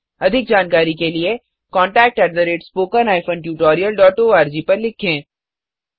अधिक जानकारी के लिए contactspoken tutorialorg पर लिखें